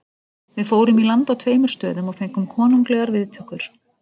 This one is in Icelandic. Við fórum í land á tveimur stöðum og fengum konunglegar viðtökur.